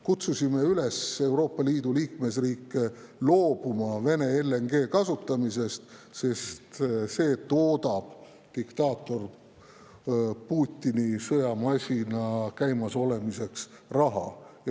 Kutsusime Euroopa Liidu liikmesriike üles loobuma Vene LNG kasutamisest, sest see toodab diktaator Putini sõjamasina käimas hoidmiseks raha.